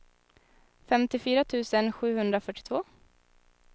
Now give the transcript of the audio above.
femtiofyra tusen sjuhundrafyrtiotvå